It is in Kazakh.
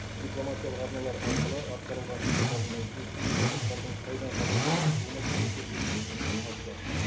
дипломатиялық арналар арқылы атқарылған жұмыстардың нәтижесінде қазақтардың қытайдан қазақстанға шығу мәселесі өз шешімін табуда